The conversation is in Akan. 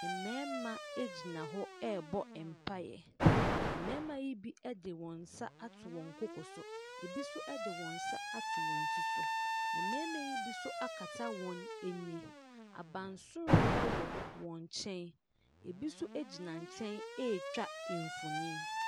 Mmarima gyina hɔ rebɔ mpaeɛ. Mmarima yi bi de wɔn nsa ato wɔn koko so. Ebi nso de wɔn nsa ato wɔn ti so. Mmarima yi bi nso akata wɔn ani. Abansoro wɔ wɔn nkyɛn. ebi nso gyina wɔn nkyɛn retwa mfonin.